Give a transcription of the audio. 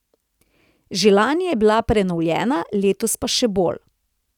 Že lani je bila prenovljena, letos pa še bolj.